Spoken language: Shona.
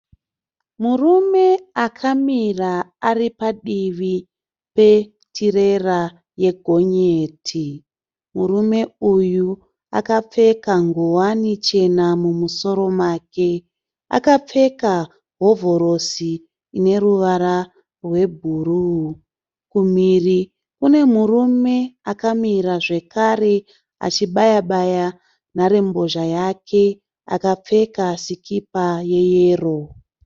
Murume akamira aripadivi petirera ye gonyeti. Murume uyu akapfeka ngowani chena mumusoro make. Akapfeka hovhorosi ineruvara rwebhuruu. Kumhiri kune murume akamira zvekare achibayabaya nharembozha yake akapfeka sikipa yeyero.